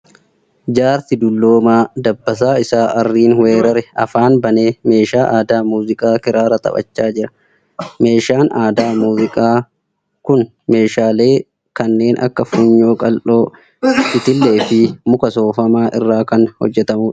Jaarsi dulloomaa dabbasaa isaa aarriin weerare afaan banee meeshaa aadaa muuziqaa kiraara taphachaa jira. Meeshaan aadaa muuziqaa kun meeshaalee kanneen akka funyoo qal'oo, itillee fi muka soofamaa irraa kan hojjatamuudha.